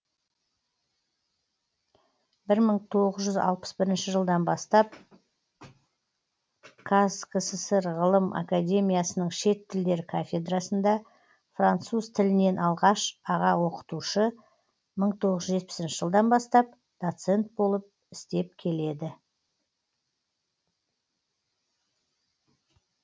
бір мың тоғыз жүз алпыс бірінші жылдан бастап қазкср ғылым академиясының шет тілдер кафедрасында француз тілінен алғаш аға оқытушы мың тоғыз жүз жетпісінші жылдан бастап доцент болып істеп келеді